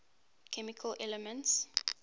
chemical elements